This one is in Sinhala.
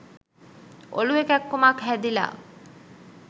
ඔලුවෙ කැක්කුමක් හැදිලා